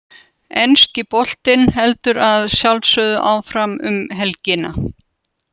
Enski boltinn heldur að sjálfsögðu áfram um helgina.